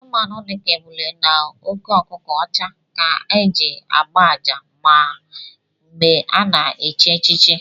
Anụmanụ dika ébulé na óké ọkụkọ ọcha ka a na-eji ágbá àjà mgbè a na-echi echichi